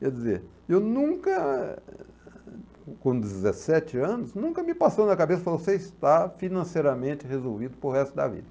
Quer dizer, eu nunca, com dezessete anos, nunca me passou na cabeça, você está financeiramente resolvido para o resto da vida.